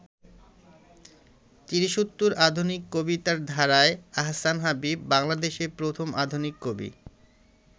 তিরিশোত্তর আধুনিক কবিতার ধারায় আহসান হাবীব বাংলাদেশের প্রথম আধুনিক কবি।